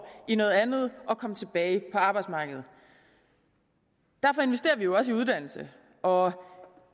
i noget andet og komme tilbage på arbejdsmarkedet derfor investerer vi jo også i uddannelse og